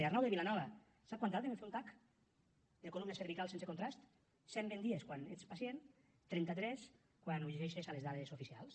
arnau de vilanova sap quant tarden en fer un tac de columna cervical sense contrast cent vint dies quan ets pacient trenta tres quan ho llegeixes a les dades oficials